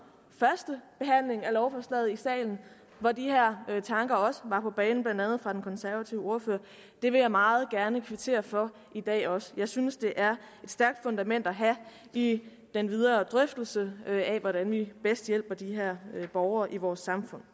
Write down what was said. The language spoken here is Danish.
første behandling af lovforslaget i salen hvor de her tanker også var på banen blandt andet fra den konservative ordfører og det vil jeg meget gerne kvittere for i dag også jeg synes det er et stærkt fundament at have i den videre drøftelse af hvordan vi bedst hjælper de her borgere i vores samfund